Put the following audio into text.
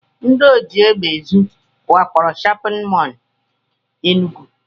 Ndị ojiegbeezu wakporo shọpịn mọl Enugu